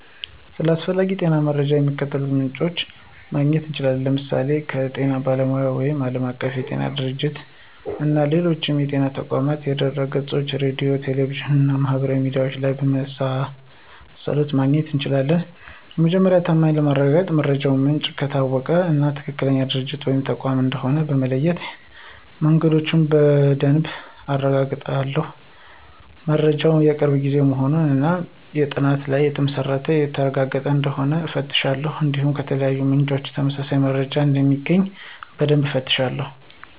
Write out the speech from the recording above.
ስለ አስፈላጊ የጤና መረጃዎች ከሚከተሉት ምንጮች ማግኘት እችላለሁ፦ ለምሳሌ ከጤና ባለሙያዎች ወይም ዓለም አቀፍ የጤና ድርጅቶች - (WHO)፣ እና ከሌሎች የጤና ተቋማት ድህረገጾች፣ ከሬዲዮ፣ ከቴሌቪዥን እና ማህበራዊ ሚዲያ ላይ ከመሳሰሉት ማግኘት እችላለሁ። የመረጃው ታማኝነት ለማረጋገጥ የመረጃው ምንጭ ከታወቀ እና ትክክለኛ ድርጅት ወይም ተቋም እንደሆነ በተለያዩ መንገዶች በደንብ አረጋግጣለሁ። መረጃው የቅርብ ጊዜ መሆኑን እና በጥናቶች ላይ የተመሰረተ ወይም የተረጋገጠ እንደሆነ እፈትሻለሁ። እንዲሁም ከተለያዩ ምንጮች ተመሳሳይ መረጃ እንደሚገኝ በደንብ እፈትሻለሁ።